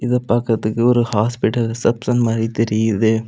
இத பாக்குறதுக்கு ஒரு ஹாஸ்பிடல் ரிசப்ஷன் மாதிரி தெரியுது.